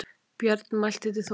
Björn mælti til Þórdísar